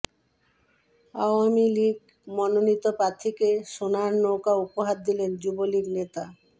আওয়ামীলীগ মনোনীত প্রার্থীকে সোনার নৌকা উপহার দিলেন যুবলীগ নেতা